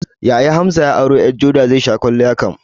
Yaya Hamza ya auro ƴar joda, zai sha kwalliya kam